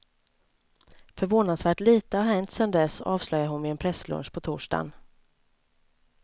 Förvånansvärt lite har hänt sedan dess, avslöjar hon vid en presslunch på torsdagen.